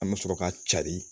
An bɛ sɔrɔ ka cari